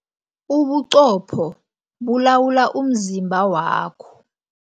Ubuqopho bulawula umzimba wakho.